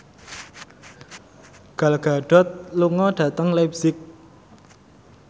Gal Gadot lunga dhateng leipzig